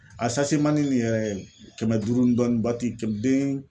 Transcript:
A mani nin yɛrɛ kɛmɛ duuru n dɔɔnin kɛm deen